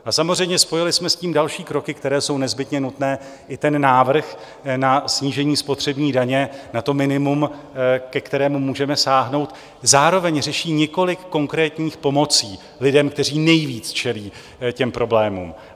A samozřejmě spojili jsme s tím další kroky, které jsou nezbytně nutné i ten návrh na snížení spotřební daně na to minimum, ke kterému můžeme sáhnout zároveň řeší několik konkrétních pomocí lidem, kteří nejvíc čelí těm problémům.